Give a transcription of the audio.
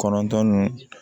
Kɔnɔntɔn ni